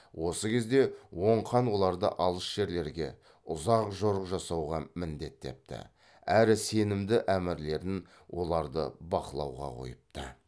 осы кезде оң хан оларды алыс жерлерге ұзақ жорық жасауға міндеттепті әрі сенімді әмірлерін оларды бақылауға қойыпты